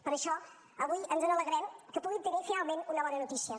per això avui ens alegrem que puguin tenir finalment una bona notícia